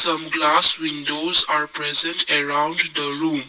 some glass windows are present around the room.